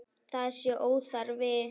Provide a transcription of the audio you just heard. Það sé óþarfi.